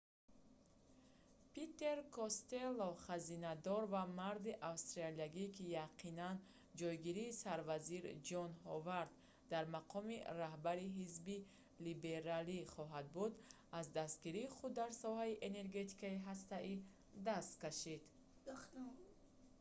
питер костелло хазинадор ва марди австралиягӣ ки яқинан ҷойгири сарвазир ҷон ҳовард дар мақоми раҳбари ҳизби либералӣ хоҳад буд аз дастгирии худ дар соҳаи энергетикаи ҳастаӣ даст кашид